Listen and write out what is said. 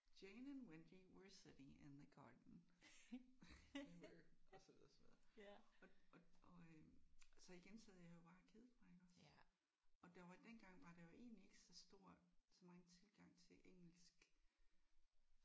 Jane and Wendy were sitting in the garden. They were og så videre og så videre og og og øh så igen sad jeg jo bare og kedede mig iggås og der var dengang var der jo egentlig ikke så stor så megen tilgang til engelsk